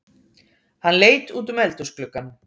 Hann leit útum eldhúsgluggann.